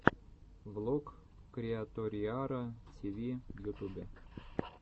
влог криаториара тиви в ютубе